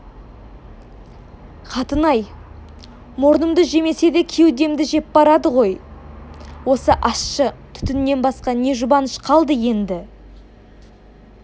қатын-ай мұрнымды жемесе де кеудемді жеп барады ғой осы ащы түтіннен басқа не жұбаныш қалды енді